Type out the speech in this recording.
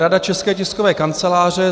Rada České tiskové kanceláře.